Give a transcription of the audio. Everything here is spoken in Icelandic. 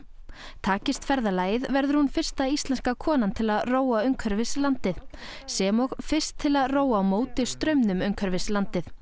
takist ferðalagið verður hún fyrsta íslenska konan til að róa umhverfis landið sem og fyrst til að róa á móti straumnum umhverfis landið